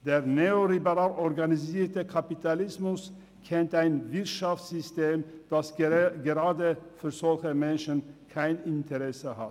– Der neoliberal organisierte Kapitalismus kennt ein Wirtschaftssystem, das gerade an solchen Menschen kein Interesse hat.